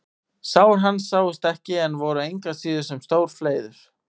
Sár hans sáust ekki en voru engu að síður sem stór fleiður.